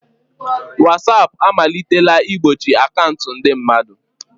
Watsap amalitela igbochi akaụntụ ndị mmadụ.